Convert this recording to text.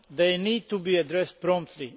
They need to be addressed promptly.